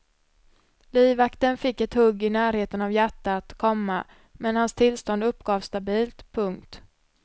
Livvakten fick ett hugg i närheten av hjärtat, komma men hans tillstånd uppgavs stabilt. punkt